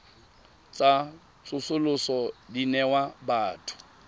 tsa tsosoloso di newa batho